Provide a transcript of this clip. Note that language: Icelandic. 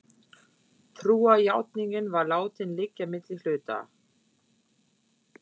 Trúarjátningin var látin liggja milli hluta.